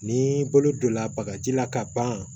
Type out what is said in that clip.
Ni bolo donna bagaji la ka ban